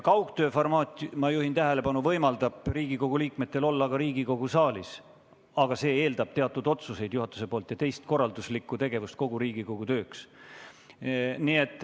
Kaugtööformaat, ma juhin tähelepanu, võimaldab Riigikogu liikmetel olla ka Riigikogu saalis, aga see eeldab juhatuselt teatud otsuseid ja teistsugust korralduslikku tegevust kogu Riigikogu tööks.